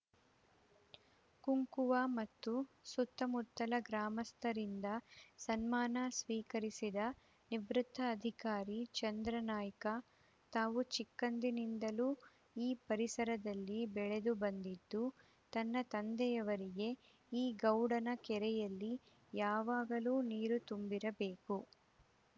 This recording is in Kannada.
ಕುಂಕುವ ಮತ್ತು ಸುತ್ತಮುತ್ತಲ ಗ್ರಾಮಸ್ಥರಿಂದ ಸನ್ಮಾನ ಸ್ವೀಕರಿಸಿದ ನಿವೃತ್ತ ಅಧಿಕಾರಿ ಚಂದ್ರಾನಾಯ್ಕ ತಾವು ಚಿಕ್ಕಂದಿನಿಂದಲೂ ಈ ಪರಿಸರದಲ್ಲಿ ಬೆಳೆದುಬಂದಿದ್ದು ತನ್ನ ತಂದೆಯವರಿಗೆ ಈ ಗೌಡನ ಕೆರೆಯಲ್ಲಿ ಯಾವಾಗಲೂ ನೀರು ತುಂಬಿರಬೇಕು